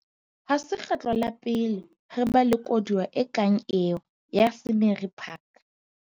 Ha se kgetlo la pele re ba le koduwa e kang eo ya Scenery Park.